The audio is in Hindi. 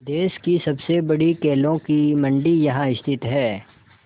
देश की सबसे बड़ी केलों की मंडी यहाँ स्थित है